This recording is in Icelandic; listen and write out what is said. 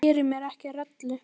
Ég geri mér ekki rellu.